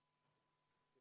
V a h e a e g